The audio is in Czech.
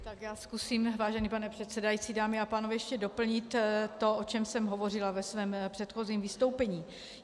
Tak já zkusím, vážený pane předsedající, dámy a pánové, ještě doplnit to, o čem jsem hovořila ve svém předchozím vystoupení.